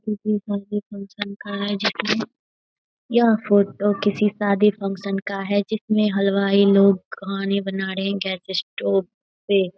किसी शादी फंक्शन का है जिसमें यह फोटो किसी शादी फंक्शन का है जिसमें हलवाई लोग खाने बना रहे है गैस स्टोव पे --